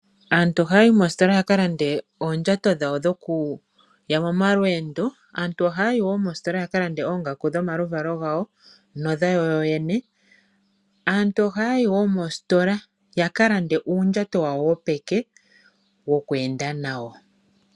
Aantu ohaya yi moositola ya ka lande oondjato dhawo dhoku ya momalweendo. Aantu ohaya ya yi woo moositola ya ka lande oongaku dhomaluvalo gawo nodhawo yoyene. Aantu ohaya yi woo moositola ya ka lande uundjato wawo wopeke woku enda nawo.